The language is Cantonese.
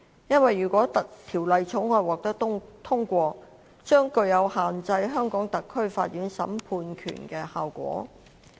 原因是《條例草案》如果獲得通過，將具有限制香港特區法院審判權的效果。